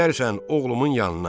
Gedərsən oğlumun yanına.